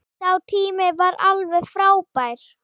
Sá tími var alveg frábær.